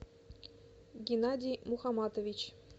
геннадий мухаматович